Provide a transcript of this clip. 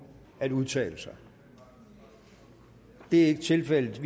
at udtale sig det er ikke tilfældet